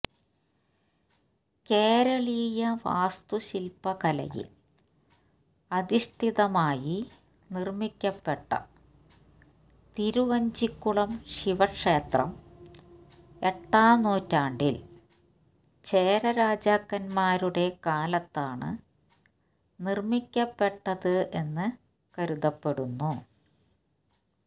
കേരളീയ വാസ്തുശിൽപ കലയിൽ അധിഷ്ഠിതമായി നിർമ്മിക്കപ്പെട്ട തിരുവഞ്ചിക്കുളം ശിവക്ഷേത്രം എട്ടാം നൂറ്റാണ്ടിൽ ചേര രാജക്കൻമാരുടെ കാലത്താണ് നിർമ്മിക്കപ്പെട്ടത് എന്ന് കരുതപ്പെടുന്നു